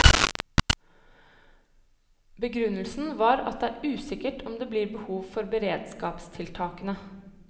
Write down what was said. Begrunnelsen var at det er usikkert om det blir behov for beredskapstiltakene.